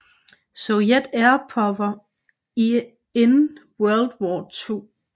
Soviet Air Power in World War 2